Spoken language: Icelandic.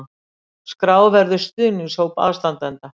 Skráð verður í stuðningshóp aðstandenda